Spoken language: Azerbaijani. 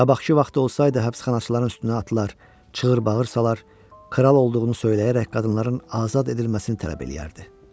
Qabaqki vaxt olsaydı həbsxanaçıların üstünə atlılar çığır-bağır salar, kral olduğunu söyləyərək qadınların azad edilməsini tələb eləyərdi.